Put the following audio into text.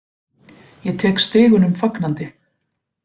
Ég tek stigunum fagnandi.